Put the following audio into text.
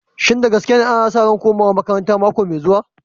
Shin da gaske ne, ana sa ran komawa makaranta nan da mako mai zuwa?